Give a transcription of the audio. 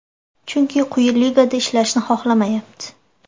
Chunki quyi ligada ishlashni xohlamayapti.